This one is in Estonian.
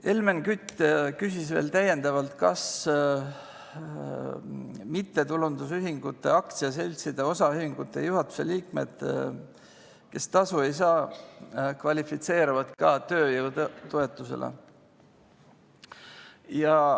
Helmen Kütt küsis veel täiendavalt, kas mittetulundusühingute, aktsiaseltside, osaühingute juhatuse liikmed, kes tasu ei saa, kvalifitseeruvad ka tööjõutoetusele.